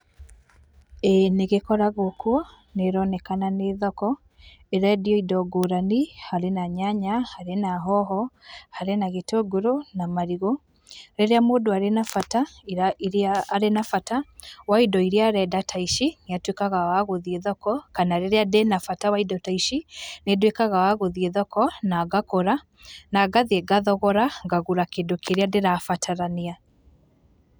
Ĩĩ nĩ gĩkoraguo kuo, nĩ ĩronekana nĩ thoko ĩrendio indo ngũrani, harĩ na nyanya , harĩ na hoho, harĩ na gĩtũgũrũ na marigũ. Rĩrĩa mũndũ arĩ na bata wa indo iria arenda ta ici, nĩ atwĩkaga wa gũthiĩ thoko kana rĩrĩa ndĩna bata wa indo ta ici, nĩ nduĩkaga wa gũthiĩ thoko na ngagũra na ngathiĩ ngathogora ngagũra kĩndũ kĩrĩa ndĩrabatarania.